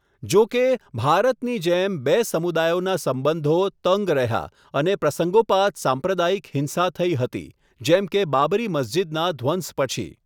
જો કે, ભારતની જેમ, બે સમુદાયોના સંબંધો તંગ રહ્યા અને પ્રસંગોપાત સાંપ્રદાયિક હિંસા થઈ હતી, જેમ કે બાબરી મસ્જિદના ધ્વંસ પછી.